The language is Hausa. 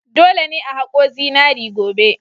Dole ne a haƙo zinari gobe!